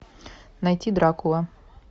найти дракула